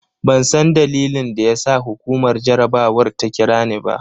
Ban san dalilin da ya sa hukumar jarabawar ta kira ni ba.